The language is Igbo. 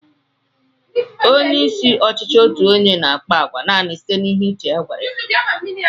Onyeisi n'ọchịchị otu onye n'àkpá àgwà nani site n'ihe uche ya gwara ya